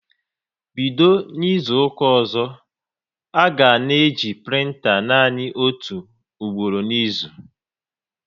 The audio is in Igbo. Bido N'izuka ọzọ, a ga na-eji printa nanị otu ugboro n'izu!